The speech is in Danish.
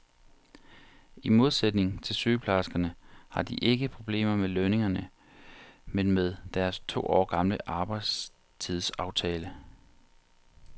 I modsætning til sygeplejerskerne har de ikke problemer med lønningerne, men med deres to år gamle arbejdstidsaftale.